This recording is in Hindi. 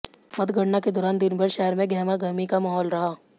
मतगणना के दौरान दिन भर शहर में गहमागहमी का महौल रहा